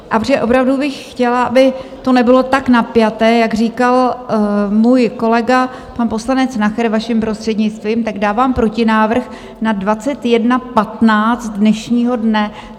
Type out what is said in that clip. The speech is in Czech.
A protože opravdu bych chtěla, aby to nebylo tak napjaté, jak říkal můj kolega pan poslanec Nacher, vaším prostřednictvím, tak dávám protinávrh na 21.15 dnešního dne.